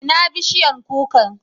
Ina bishiyan kukan?